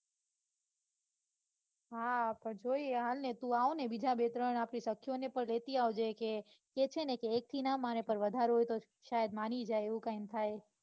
હા પણ જોઈએ હાલ ને તું આવ ને બીજા બે ત્રણ આપડી સખીઓને લેતી આવજે કે છેને કે એક થી ના માને પણ વધારે હોય તો શાયદ માની ય જાય એવું કૈંક થાય